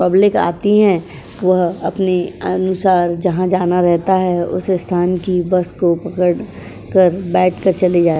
Public आती हैं। वह अपने अनुसार जहां जाना रहता है। उसे स्थान की बस को पकड़ कर बैठ कर चली जा --